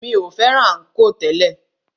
Mi o fẹ́ràn ànkò tẹ́lẹ̀.